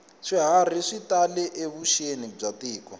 swiharhi swi tale evuxeni bya tiko